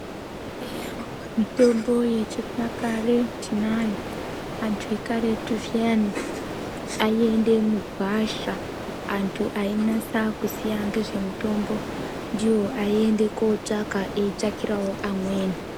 Mitombo yechinyakare tinayo antu eukaryote zviyani aienda mugwasha antu ainasa kuziya nezvemitombo ndiwo aienda kotsvaka eitsvakirawo amweni.